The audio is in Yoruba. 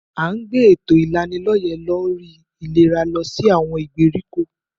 À ń gbé èto ìlanilọ́yẹ̀ lórí ìlera lọ sí àwọn ìgbèríko.